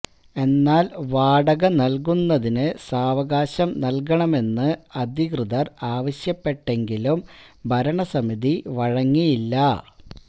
എന്നാല് വാടക നല്കുന്നതിന് സവകാശം നല്കണമെന്ന് അധിക്യതര് ആവശ്യപ്പെട്ടെങ്കിലും ഭരണസമിതി വഴങ്ങിയില്ല